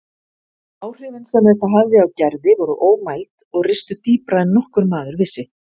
Áhrifin sem þetta hafði á Gerði voru ómæld og ristu dýpra en nokkur maður vissi.